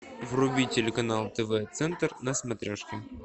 вруби телеканал тв центр на смотрешке